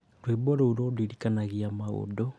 rwĩmbo rũu rũndirikanagia maũndũ